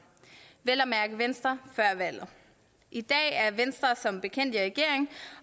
vel at mærke venstre før valget i dag er venstre som bekendt i regering